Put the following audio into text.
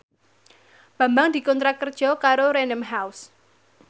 Bambang dikontrak kerja karo Random House